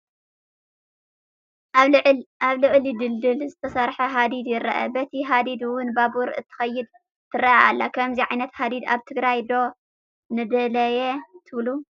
ኣብ ልዕሊ ድልድል ዝተሰርሐ ሃዲድ ይረአ፡፡ በቲ ሃዲድ ውን ባቡር እንትትከይድ ትረአ ኣላ፡፡ ከምዚ ዓይነት ሃዲድ ኣብ ትግራይ ዶ ነድለየ ትብሉ?